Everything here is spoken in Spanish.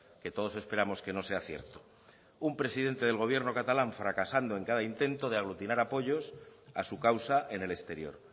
que todos esperamos que no sea cierto un presidente del gobierno catalán fracasando en cada intento de aglutinar apoyos a su causa en el exterior